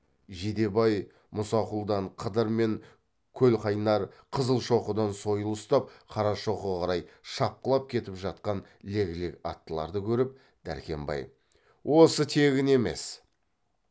жидебай мұсақұлдан қыдыр мен көлқайнар қызылшоқыдан сойыл ұстап қарашоқыға қарай шапқылап кетіп жатқан лек лек аттыларды көріп дәркембай осы тегін емес